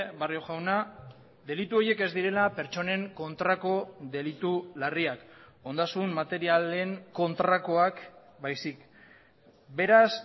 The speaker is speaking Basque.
barrio jauna delitu horiek ez direla pertsonen kontrako delitu larriak ondasun materialen kontrakoak baizik beraz